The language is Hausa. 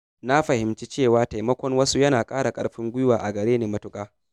Na fahimci cewa taimakon wasu yana ƙara ƙarfin gwiwa a gare ni matuƙa.